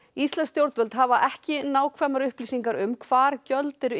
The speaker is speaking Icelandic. íslensk stjórnvöld hafa ekki nákvæmar upplýsingar um hvar gjöld eru